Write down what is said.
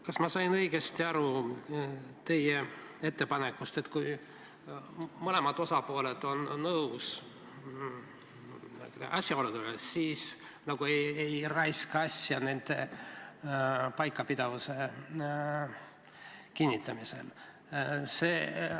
Kas ma sain teie ettepanekust õigesti aru, et kui mõlemad osapooled on asjaoludega nõus, siis nagu ei raiskaks aega nende paikapidavuse kinnitamisega?